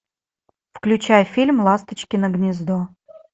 включай фильм ласточкино гнездо